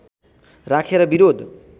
राखेर विरोध